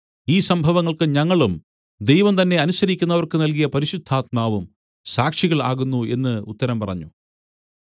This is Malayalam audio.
ഈ സംഭവങ്ങൾക്ക് ഞങ്ങളും ദൈവം തന്നെ അനുസരിക്കുന്നവർക്ക് നല്കിയ പരിശുദ്ധാത്മാവും സാക്ഷികൾ ആകുന്നു എന്ന് ഉത്തരം പറഞ്ഞു